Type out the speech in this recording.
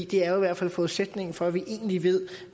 det er jo i hvert fald forudsætningen for at vi egentlig ved